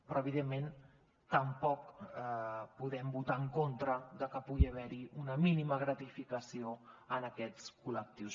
però evidentment tampoc podem votar en contra de que pugui haver hi una mínima gratificació a aquests col·lectius